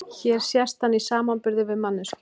Hér sést hann í samanburði við manneskju.